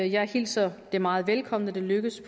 jeg hilser det meget velkommen at det er lykkedes